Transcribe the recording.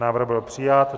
Návrh byl přijat.